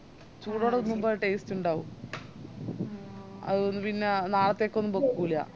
ചൂടോടെ തിന്നുമ്പ taste ഇണ്ടാവൂ അല്ലെൻഡ് പിന്ന നാളത്തേക്കൊന്നും വേക്കുലാ